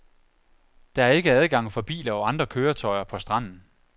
Der er ikke adgang for biler og andre køretøjer på stranden.